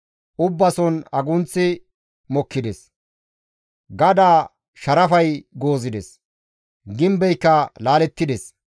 Ubbason agunththi mokkides; gadaa sharafay goozides; gimbeyka laalettides.